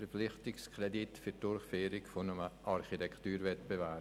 Verpflichtungskredit für die Durchführung eines Architekturwettbewerbs: